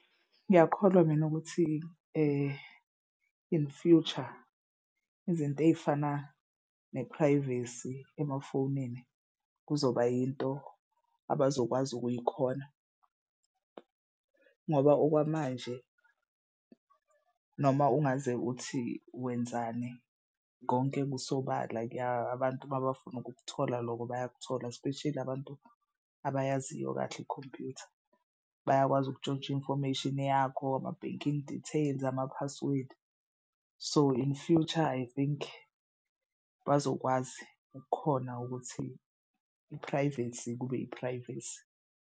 Ngiyakholwa mina ukuthi in future izinto ey'fana ne-privacy emafonini kuzoba yinto abazokwazi ukuyikhona ngoba okwamanje noma ungaze uthi wenzani konke kusobala kuya abantu mabafuna ukukuthola loko bayakuthola espesheli abantu abayaziyo kahle ikhompuyutha. Bayakwazi ukutshontsha infomation yakho ama-banking details, ama-password. So in future I think bazokwazi ukukhona ukuthi i-privacy kube i-privacy.